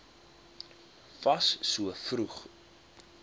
fas so vroeg